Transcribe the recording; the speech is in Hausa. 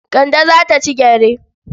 Kande za ta ci gyare.